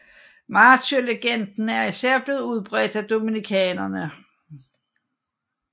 Martyrlegenden er især blevet udbredt af dominikanerne